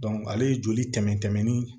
ale ye joli tɛmɛ ni